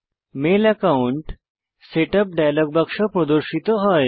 mail account setup dialogue বাক্স প্রদর্শিত হয়